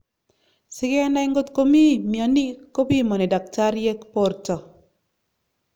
sigenai ngotkomii miani kapimani daktariek porto